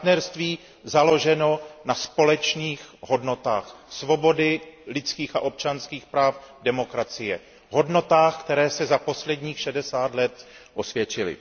Partnerství založené na společných hodnotách svobody, lidských a občanských práv, demokracie, hodnotách, které se za posledních šedesát let osvědčily.